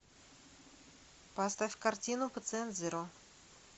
поставь картину пациент зеро